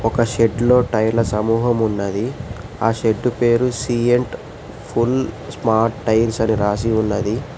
ఒక షెడ్లో టైర్ల సమూహం ఉన్నది ఆ షెడ్డు పేరు సీఎంట్ ఫుల్ స్మార్ట్ టైల్స్ అని రాసి ఉన్నది.